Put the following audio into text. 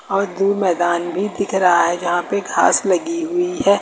और दूर मैदान भी दिख रहा है जहां पे घास लगी हुई है।